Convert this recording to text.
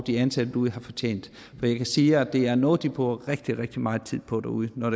de ansatte derude har fortjent og jeg kan sige at det er noget de bruger rigtig rigtig meget tid på derude når